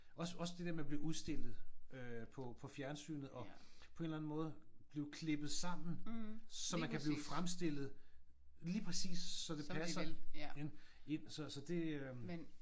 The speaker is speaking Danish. Også også det der med at blive udstillet øh på på fjernsynet og på en eller anden måde blive klippet sammen så man kan blive fremstillet lige præcis så det passer ind så så det øh